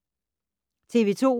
TV 2